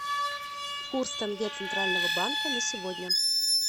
курс тенге центрального банка на сегодня